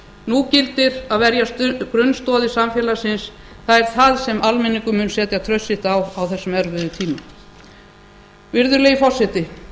nú gildir að verja grunnstoðir samfélagsins það er það sem almenningur mun setja traust sitt á á þessum erfiðu tímum virðulegi forseti